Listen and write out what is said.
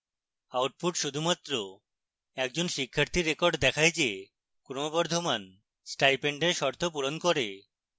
output শুধুমাত্র একজন শিক্ষার্থীর record দেখায় the ক্রমবর্ধমান স্টাইপেন্ডের শর্ত পূরণ করে